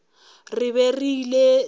re be re ile le